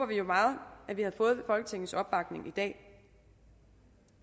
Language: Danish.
vi jo meget at vi havde fået folketingets opbakning i dag